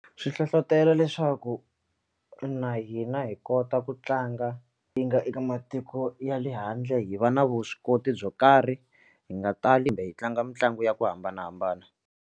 Swi hlohlotela leswaku na hina hi kota ku tlanga hi nga eka matiko ya le handle hi va na vuswikoti byo karhi hi nga tali kumbe hi tlanga mitlangu ya ku hambanahambana.